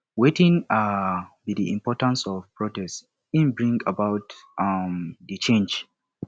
wetin um be di importance of protest in bring about um di change